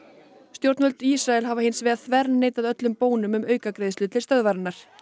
stjórnvöld í Ísrael hafa hins vegar þverneitað öllum bónum um aukagreiðslur til stöðvarinnar